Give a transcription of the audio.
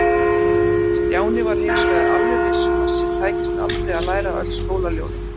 Stjáni var hins vegar alveg viss um að sér tækist aldrei að læra öll skólaljóðin.